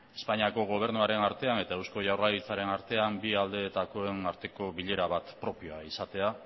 espainiako gobernuaren artean eta eusko jaurlaritzaren artean bi aldeetako bilera bat propioa izatea